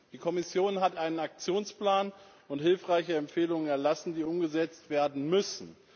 Die Kommission hat einen Aktionsplan und hilfreiche Empfehlungen erlassen, die umgesetzt werden müssen.